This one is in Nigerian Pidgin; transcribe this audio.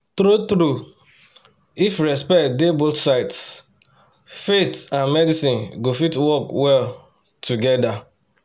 true-true if respect dey both sides faith and medicine go fit work well together.